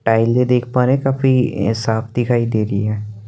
टाइले देख पा रहे हैं काफी साफ दिखाई दे रही है।